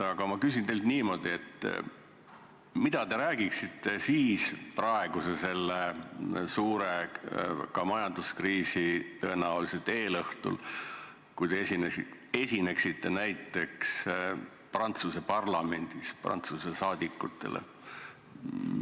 Aga ma küsin teilt niimoodi: mida te räägiksite praeguse suure majanduskriisi tõenäolisel eelõhtul, kui te esineksite näiteks Prantsuse parlamendis Prantsuse parlamendi liikmetele?